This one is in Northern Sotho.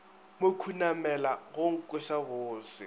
mo khunamela go nkweša bose